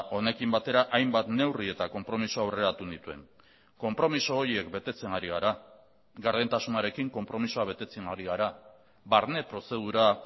honekin batera hainbat neurri eta konpromiso aurreratu nituen konpromiso horiek betetzen ari gara gardentasunarekin konpromisoa betetzen ari gara barne prozedura